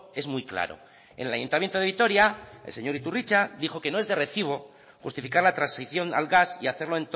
es muy claro en el ayuntamiento de vitoria el señor iturritza dijo que no es de recibo justificar la transición al gas y hacerlo